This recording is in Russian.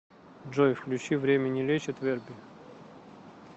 джой включи время не лечит верби